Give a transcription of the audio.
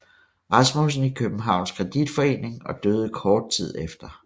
Rasmussen i Københavns Kreditforening og døde kort tid efter